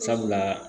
Sabula